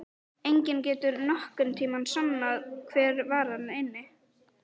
Enginn getur nokkurn tíma sannað hver var þarna inni!